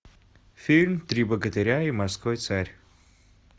фильм три богатыря и морской царь